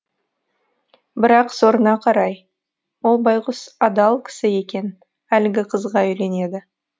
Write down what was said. бірақ сорына қарай ол байғұс адал кісі екен әлгі қызға үйленеді